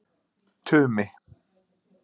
Tumi